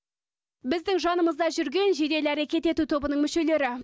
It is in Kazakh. біздің жанымызда жүрген жедел әрекет ету тобының мүшелері